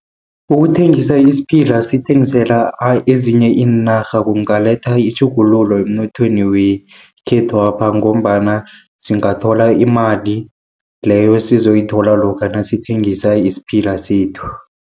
Ukuthengisa isiphila sithengisela ezinye iinarha, kungaletha itjhugululo emnothweni wekhethwapha, ngombana singathola imali leyo esizoyithola lokha nasithengisa isiphila sethu.